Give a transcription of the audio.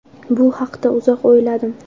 Bu haqda uzoq o‘yladim.